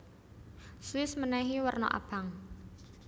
Swiss menehi werna abang